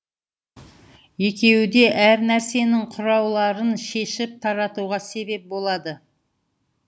екеуі де әр нәрсенің құрауларын шешіп таратуға себеп болады